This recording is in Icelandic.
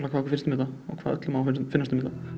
okkur finnst um þetta og hvað öllum á að finnast um þetta